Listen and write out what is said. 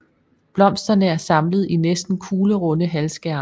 Blomsterne er samlet i næsten kuglerunde halvskærme